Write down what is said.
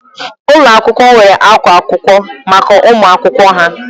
Ụlọ akwụkwọ nwere akwa akwụkwọ maka ụmụ akwụkwọ ha